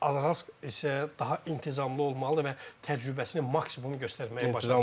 Araz isə daha intizamlı olmalıdı və təcrübəsini maksimum göstərməyə çalışmalıdır.